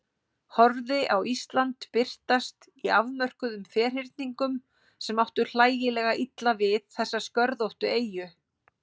Horfði á Ísland birtast í afmörkuðum ferhyrningum sem áttu hlægilega illa við þessa skörðóttu eyju.